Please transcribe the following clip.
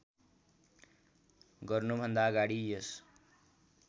गर्नुभन्दा अगाडि यस